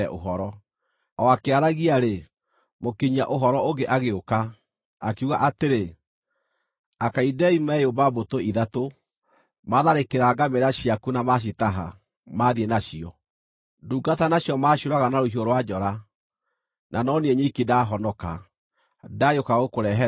O akĩaragia-rĩ, mũkinyia-ũhoro ũngĩ agĩũka, akiuga atĩrĩ, “Akalidei meyũmba mbũtũ ithatũ, maatharĩkĩra ngamĩĩra ciaku na macitaha, maathiĩ nacio. Ndungata nacio maciũraga na rũhiũ rwa njora; na no niĩ nyiki ndahonoka, ndagĩũka gũkũrehere ũhoro!”